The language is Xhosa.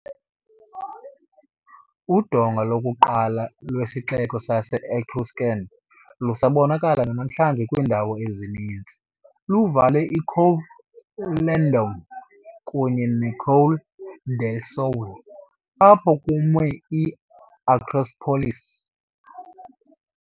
Udonga lokuqala lwesixeko sase-Etruscan, lusabonakala namhlanje kwiindawo ezininzi, luvale iColle Landone kunye neColle del Sole, apho kumi i-acropolis.